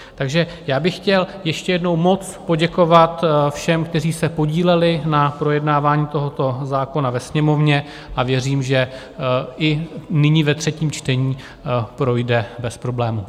Takže já bych chtěl ještě jednou moc poděkovat všem, kteří se podíleli na projednávání tohoto zákona ve Sněmovně, a věřím, že i nyní ve třetím čtení projde bez problémů.